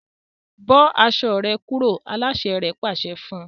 Bó aṣọ rẹ kúrò! aláṣẹ rẹ̀ pàṣẹ fún un